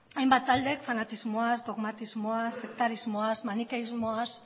hainbat taldeek fanatismoaz dogmatismoaz sektarizmoaz manikerismoaz